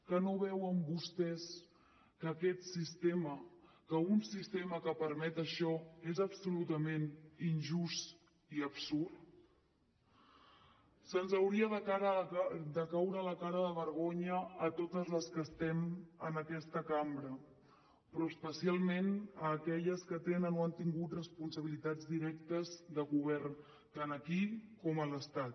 que no veuen vostès que aquest sistema que un sistema que permet això és absolutament injust i absurd se’ns hauria de caure la cara de vergonya a totes les que estem en aquesta cambra però especialment a aquelles que tenen o han tingut responsabilitats directes de govern tant aquí com a l’estat